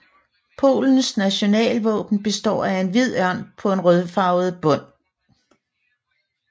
Polens nationalvåben består af en hvid ørn på en rødfarvet bund